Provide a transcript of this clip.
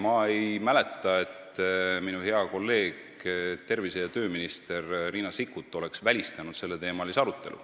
Ma ei mäleta, et minu hea kolleeg tervise- ja tööminister Riina Sikkut oleks välistanud selleteemalise arutelu.